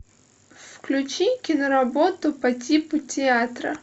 включи киноработу по типу театра